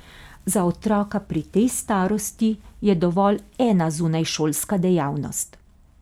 Za otroka pri tej starosti je dovolj ena zunajšolska dejavnost.